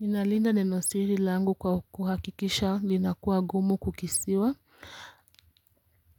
Ninalinda neno siri langu kwa kuhakikisha linakuwa gumu kukisiwa